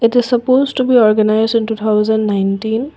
the supposed to be organise in two thousand nineteen.